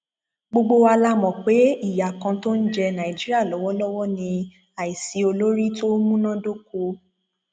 gbogbo wa la mọ pé ìyá kan tó ń jẹ nàìjíríà lọwọlọwọ ní àìsí olórí tó múná dóko